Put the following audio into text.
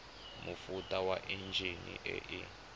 mofuta wa enjine e e